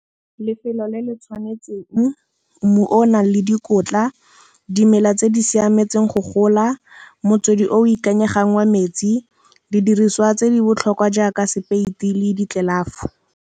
Lefelo le le tshwanetseng, mmu o nang le dikotla, dimela tse di siametseng go gola, motswedi o ikanyegang wa metsi, di diriswa tse di botlhokwa jaaka sepeiti le ditlelafo.